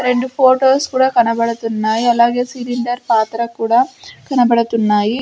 రెండు ఫోటోస్ కూడా కనబడుతున్నాయ్ అలాగే సిలిండర్ పాత్ర కూడా కనబడుతున్నాయి.